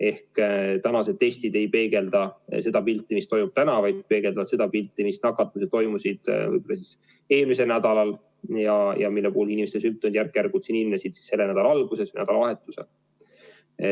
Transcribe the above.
Ehk tänased testid ei peegelda seda pilti, mis on täna, vaid peegeldavad seda nakatumispilti, mis oli eelmisel nädalal ja mille puhul inimeste sümptomid järk-järgult ilmnesid selle nädala alguses ja nädalavahetusel.